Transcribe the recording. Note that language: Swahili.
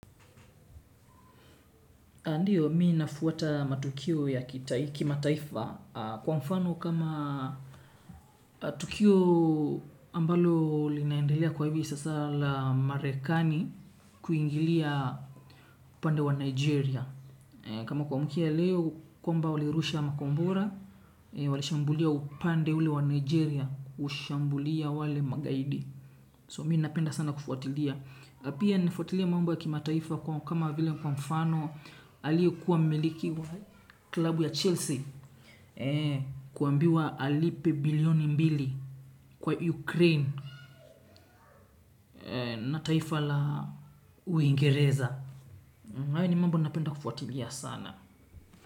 Ndiyo, mimi nafuata matukio ya kimataifa kwa mfano kama tukio ambalo linaendelea kwa hivi sasa la marekani kuingilia upande wa Nigeria. Kama kuamkia leo, kwamba walirusha makombora, walishambulia upande ule wa Nigeria, ushambulia wale magaidi. So mimi napenda sana kufuatilia. Na pia nilifuatilia mambo ya kimataifa kama vile kwa mfano aliyekuwa mmiliki wa klabu ya Chelsea Kuambiwa alipe bilioni mbili kwa Ukraine na taifa la uingereza hayo ni mambo napenda kufuatilia sana.